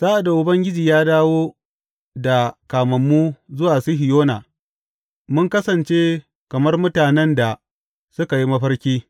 Sa’ad da Ubangiji ya dawo da kamammu zuwa Sihiyona, mun kasance kamar mutanen da suka yi mafarki.